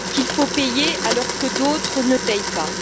Qu'il faut payer, alors que d'autres ne payent pas.